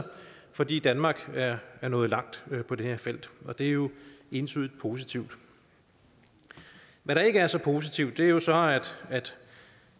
fordi danmark er er nået langt på det her felt og det er jo entydigt positivt hvad der ikke er så positivt er jo så at